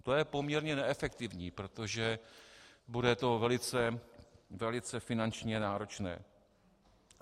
To je poměrně neefektivní, protože to bude velice finančně náročné.